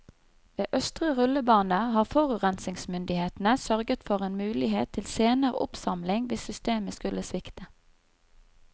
Ved østre rullebane har forurensningsmyndighetene sørget for en mulighet til senere oppsamling hvis systemet skulle svikte.